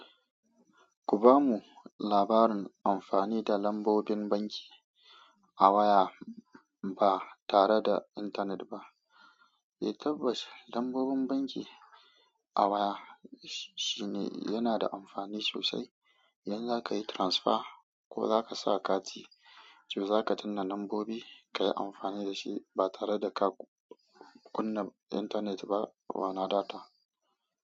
Ku bamu labarin amfani da lambobin banki a waya ba tare da intanet ba? Eh tabbas lambobin banki a waya shine yana da amfani sosai. Idan za ka yi transfer ko za ka sa kati, to za ka danna lambobi, ka yi amfani da shi ba tare da ka kunna intanet ba, wana data.